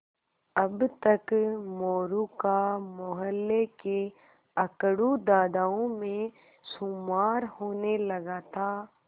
अब तक मोरू का मौहल्ले के अकड़ू दादाओं में शुमार होने लगा था